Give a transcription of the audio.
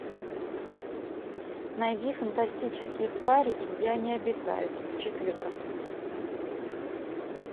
найди фантастические твари и где они обитают четырка